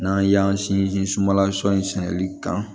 N'an y'an sinsin sumala sɔnni sɛnɛli kan